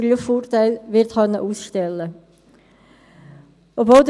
Ich begrüsse Sie zur zweiten Woche unserer Novembersession.